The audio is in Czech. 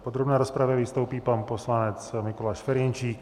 V podrobné rozpravě vystoupí pan poslanec Mikuláš Ferjenčík.